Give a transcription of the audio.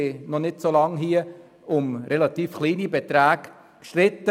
Vor nicht allzu langer Zeit haben wir hier um relativ kleine Beträge gestritten.